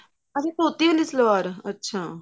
ਅੱਛਾ ਧੋਤੀ ਵਾਲੀ ਸਲਵਾਰ ਅੱਛਾ